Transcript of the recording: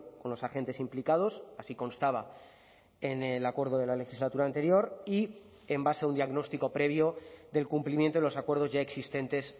con los agentes implicados así constaba en el acuerdo de la legislatura anterior y en base a un diagnóstico previo del cumplimiento de los acuerdos ya existentes